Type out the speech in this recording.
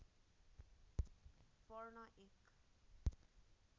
fern एक